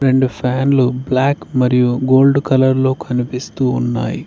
రెండు ఫ్యాన్లు బ్లాక్ మరియు గోల్డ్ కలర్ లో కనిపిస్తూ ఉన్నాయి.